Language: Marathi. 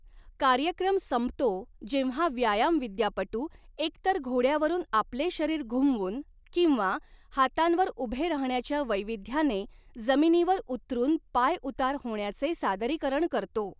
कार्यक्रम संपतो जेव्हा व्यायामविद्यापटू एकतर घोड्यावरून आपले शरीर घुमवून किंवा हातांवर उभे राहण्याच्या वैविध्याने जमिनीवर उतरून पायउतार होण्याचे सादरीकरण करतो.